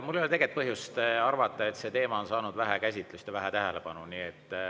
Mul ei ole põhjust arvata, et see teema on saanud vähe käsitlust ja vähe tähelepanu.